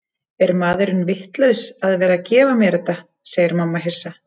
Er maðurinn vitlaus að vera að gefa mér þetta, segir mamma hissa.